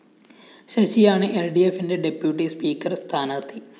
ശശിയാണ് എല്‍ഡിഎഫിന്റെ deputy speaker സ്ഥാനാര്‍ത്ഥി